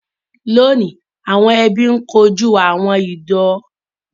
Lóọ̀ní, àwon ẹbí n kojú àwọn ìdojúkọ bíi owú jíjẹ ọmọ ìyá àti ojúsàájú.